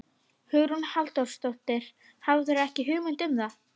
Hugrún Halldórsdóttir: Hafðirðu ekki hugmynd um það?